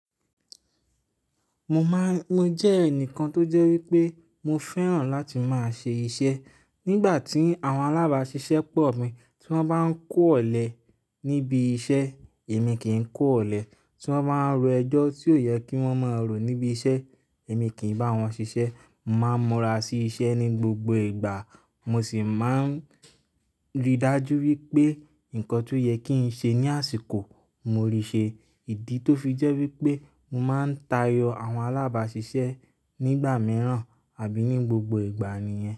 Mo máa-- mo jẹ́ ẹnìkan tó jẹ́ wípé mo fẹ́ràn láti máa ṣe iṣẹ́. Nígbà tí àwọn alábàáṣiṣẹ́ pọ̀ mí, tí wọ́n bá ń kó ọ̀lẹ níbi iṣẹ́, èmi kì í kó ọ̀lẹ. Tí wọ́n bá ń ro ẹjọ́ tí ò yẹ kí wọ́n máa rò níbi iṣẹ́, èmi kì í bá wọn ṣiṣẹ́. Mo máa ń múra sí iṣẹ́ ní gbogbo ìgbà. Mo sì máa ń rí dájú wípé nǹkan tó yẹ kí n ṣe ní àsìkò, mo rí ṣe. Ìdí tó fi jẹ́ wípé mo máa ń tayọ àwọn alábàáṣiṣẹ́ nígbà mìíràn àbí ní gbogbo ìgbà nìyẹn.